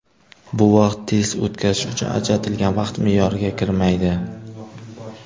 Bu vaqt test o‘tkazish uchun ajratilgan vaqt me’yoriga kirmaydi.